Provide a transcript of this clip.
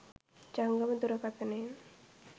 ජංගම දුරකතනයෙන්